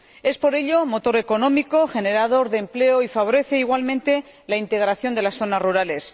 Es, por ello, un motor económico generador de empleo que favorece igualmente la integración de las zonas rurales.